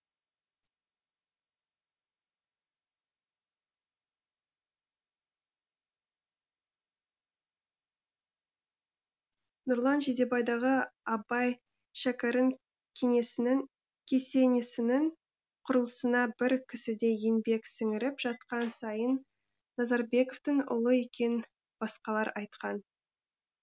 нұрлан жидебайдағы абай шәкәрім кесенесінің құрылысына бір кісідей еңбек сіңіріп жатқан сайын назарбековтің ұлы екенін басқалар айтқан